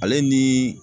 Ale ni